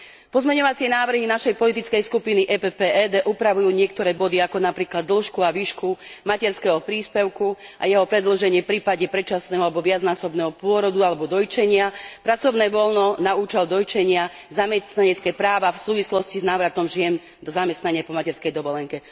Pozmeňujúce a doplňujúce návrhy našej politickej skupiny PPE DE upravujú niektoré body, napríklad dĺžku a výšku materského príspevku a jeho predĺženie v prípade predčasného alebo viacnásobného pôrodu alebo dojčenia, pracovné voľno na účel dojčenia, ako aj zamestnanecké práva v súvislosti s návratom žien do zamestnania po materskej dovolenke.